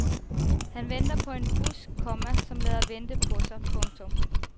Han venter på en bus, komma som lader vente på sig. punktum